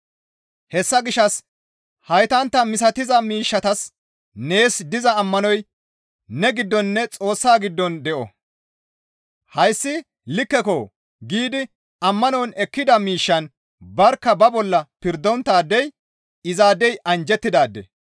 Hessa gishshas haytantta misatiza miishshatas nees diza ammanoy ne giddoninne Xoossa giddon de7o. «Hayssi likkeko» giidi ammanon ekkida miishshan barkka ba bolla pirdonttaadey izaadey anjjettidaade.